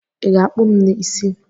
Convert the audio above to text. I ga-akpụ m isi?